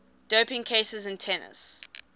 doping cases in tennis